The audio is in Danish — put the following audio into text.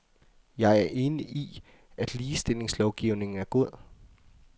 Jeg er enig i, at ligestillingslovgivningen er god.